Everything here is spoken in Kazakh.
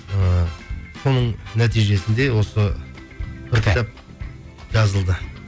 ыыы соның нәтижесінде осы жазылды